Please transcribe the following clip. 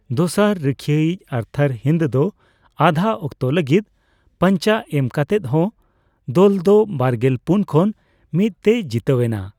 ᱫᱚᱥᱟᱨ ᱨᱩᱠᱷᱤᱭᱟᱹᱤᱡ ᱟᱨᱛᱷᱟᱨ ᱦᱤᱱᱫ ᱫᱚ ᱟᱫᱷᱟ ᱚᱠᱛᱚ ᱞᱟᱹᱜᱤᱫ ᱯᱟᱱᱪᱟ ᱮᱢ ᱠᱟᱛᱮᱜ ᱦᱚᱸ, ᱫᱚᱞ ᱫᱚ ᱵᱟᱨᱜᱮᱞ ᱯᱩᱱ ᱠᱷᱚᱱ ᱢᱤᱛ ᱛᱮᱭ ᱡᱤᱛᱟᱹᱣ ᱮᱱᱟ ᱾